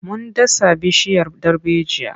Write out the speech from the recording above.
Mun dasa bishiyar darbejiya.